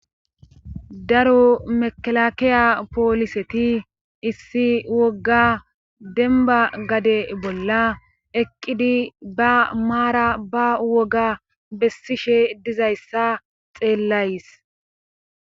Daro mekalakiya pooliseti issi wogga demba gade bolla eqqidi ba maara ba woga bessishe dizayssa xeellays.